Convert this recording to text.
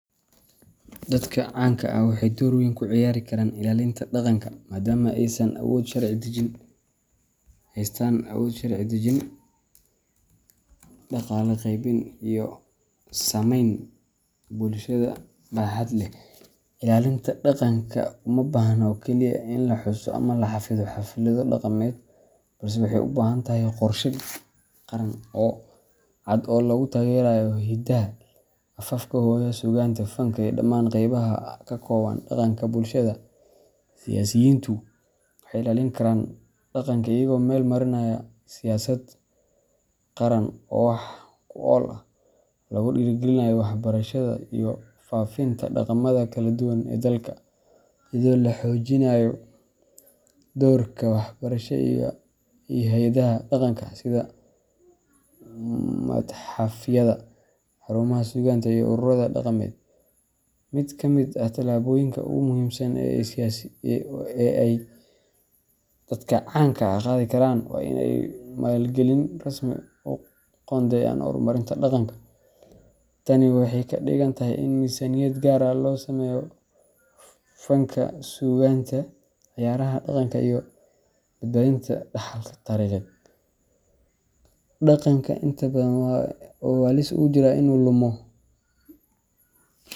Dadka canka ah waxay door weyn ka ciyaari karaan ilaalinta dhaqanka, maadaama ay haystaan awood sharci dejin, dhaqaale qaybin, iyo saameyn bulsheed oo baaxad leh. Ilaalinta dhaqanka uma baahna oo keliya in la xuso ama la xafido xaflado dhaqameed, balse waxay u baahan tahay qorshe qaran oo cad oo lagu taageerayo hiddaha, afafka hooyo, suugaanta, fanka, iyo dhammaan qaybaha ka kooban dhaqanka bulshada. Siyaasiyiintu waxay ilaalin karaan dhaqanka iyagoo meel marinaya siyaasad qaran oo wax ku ool ah oo lagu dhiirrigeliyo waxbarashada iyo faafinta dhaqamada kala duwan ee dalka, iyadoo la xoojinayo doorka wasaaradaha iyo hay’adaha dhaqanka sida matxafyada, xarumaha suugaanta, iyo ururada dhaqameed. Mid ka mid ah tallaabooyinka ugu muhiimsan ee ay dadka canka ah qaadi karaan waa in ay maalgelin rasmi ah u qoondeeyaan horumarinta dhaqanka. Tani waxay ka dhigan tahay in miisaaniyad gaar ah loo sameeyo fanka, suugaanta, ciyaaraha dhaqanka, iyo badbaadinta dhaxalka taariikheed. Dhaqanka inta badan waxa uu halis ugu jiraa in uu lumo.